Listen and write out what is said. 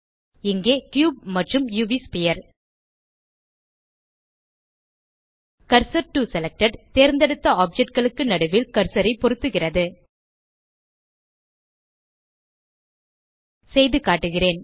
இங்கே கியூப் மற்றும் UV sphere cursor to selected தேர்ந்தெடுத்த ஆப்ஜெக்ட் களுக்கு நடுவில் கர்சர் ஐ பொருத்துகிறது செய்து காட்டுகிறேன்